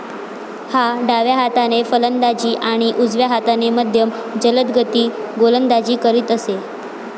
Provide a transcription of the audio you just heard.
हा डाव्या हाताने फलंदाजी आणि उजव्या हाताने मध्यम जलदगती गोलंदाजी करीत असे.